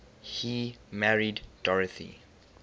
he married dorothy